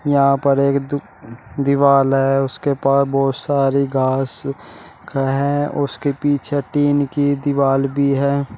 यहां पर एक दो दीवाल है उसके पास बहुत सारी घास भी है उसके पीछे टीन की दीवाल भी है।